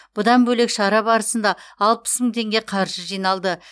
бұдан бөлек шара барысында алпыс мың теңге қаржы жиналды